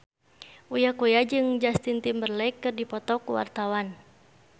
Uya Kuya jeung Justin Timberlake keur dipoto ku wartawan